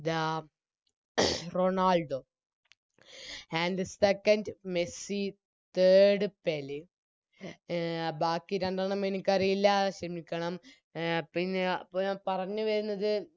The Ronaldo And second Messi Third Pele ബാക്കി രണ്ടെണ്ണം എനിക്കറിയില്ല ക്ഷെമിക്കണം അഹ് പിന്നാ ഞ പറഞ്ഞ് വെര്ന്നത്